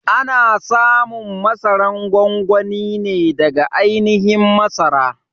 A na samun masaran gwangwani ne daga ainihin masara.